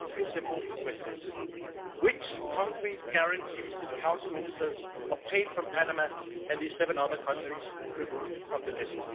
I have three simple questions What concrete guarantees did Council ministers obtain from Panama and the seven other countries removed from the list?